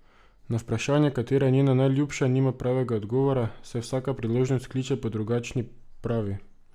Na vprašanje, katera je njena najljubša, nima pravega odgovora, saj vsaka priložnost kliče po drugačni, pravi.